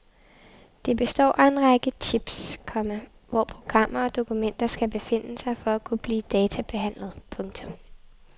Det består af en række chips, komma hvor programmer og dokumenter skal befinde sig for at kunne blive databehandlet. punktum